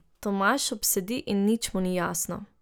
Tomaž obsedi in nič mu ni jasno.